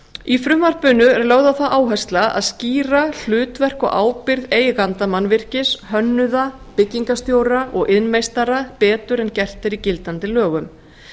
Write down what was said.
í frumvarpinu er lögð á það áhersla að skýra hlutverk og ábyrgð eiganda mannvirkis hönnuða byggingarstjóra og iðnmeistara betur en gert er í gildandi lögum